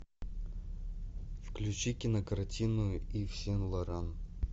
включи кинокартину ив сен лоран